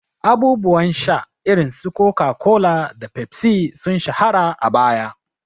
Abubuwan sha irin su Coca-Cola da Pepsi sun shahara a baya.